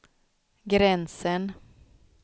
gränsen